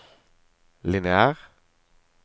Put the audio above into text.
lineær